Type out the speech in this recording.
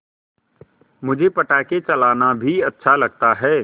मुझे पटाखे चलाना भी अच्छा लगता है